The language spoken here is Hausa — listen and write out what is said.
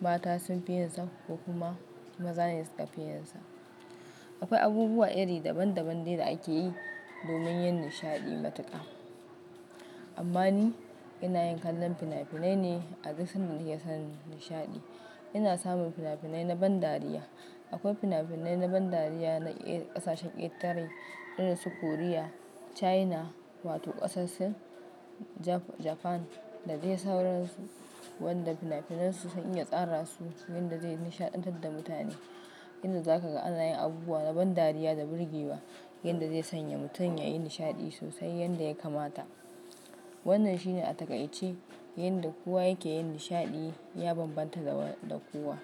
mata sun fi yinsa ko kuma mazane suka fi yinsa. Akwai abubuwa iri daban-daban de da ake yi domin yin nishaɗi matuƙa. Amma ni ina yin kallon fina-finai ne abin da suna iya sa ni nishaɗi. Ina samun fina-finai na ban dariya. Akwai fina-finai na ban dariya na irin ƙasashen ƙetare irin su Korea, China wato ƙasashe Japan da dai sauransu waɗanda fina-finansu sun iya tsara su yanda zai nishaɗantar da mutane, yanda za ka ga ana yin abubuwa na ban dariya da birgewa, yanda zai sanya mutum ya yi nishaɗi sosai yanda ya kamata. Wannan shine a takaice yanda kowa yake yin nishaɗi ya bambanta dana kuwa.